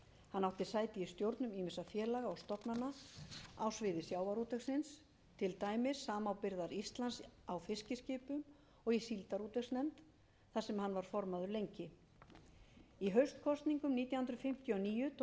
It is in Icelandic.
hann átti sæti í stjórnum ýmissa félaga og stofnana á sviði sjávarútvegsins til dæmis samábyrgðar íslands á fiskiskipum og í síldarútvegsnefnd þar sem hann var lengi formaður í haustkosningum nítján hundruð fimmtíu og níu tók